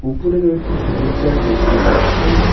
উপরে কয়েকটি ঝোড় ঝার দেখতে পাচ্ছি।